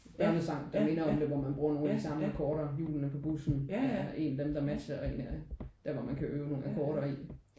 Børnesange der minder om det hvor man bruger nogle af de samme akkorder. Hjulene på bussen er der en af dem der matcher og en af dem der hvor man kan øve nogle akkorder i